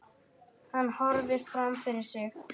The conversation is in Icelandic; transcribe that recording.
Hann horfir fram fyrir sig.